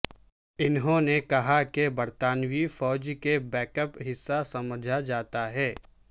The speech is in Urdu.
انہوں نے کہا کہ برطانوی فوج کے بیک اپ حصہ سمجھا جاتا تھا